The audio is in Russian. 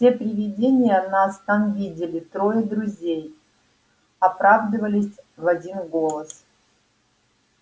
все привидения нас там видели трое друзей оправдывались в один голос